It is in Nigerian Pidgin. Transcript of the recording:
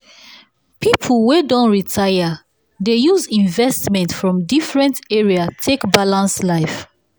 people wey don retire dey use investment from different areas take balance life.